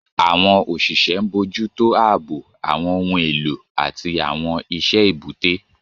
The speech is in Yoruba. Àwọn òṣìṣẹ́ ń bójú tó ààbò, àwọn ohun èlò, àti àwọn iṣẹ́ èbúté.